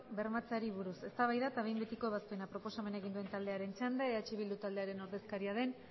bermatzeari buruz eztabaida eta behin betiko ebazpena proposamena egin duen taldearen txanda eh bildu taldearen ordezkaria den